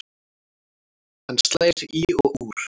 Hann slær í og úr.